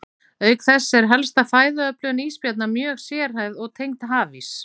Auk þess er helsta fæðuöflun ísbjarna mjög sérhæfð og tengd hafís.